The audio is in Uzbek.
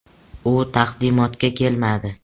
U taqdimotga kelmadi.